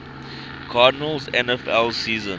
cardinals nfl season